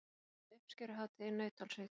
Héldu uppskeruhátíð í Nauthólsvík